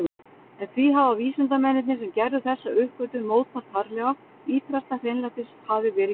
En því hafa vísindamennirnir sem gerðu þessa uppgötvun mótmælt harðlega, ýtrasta hreinlætis hafi verið gætt.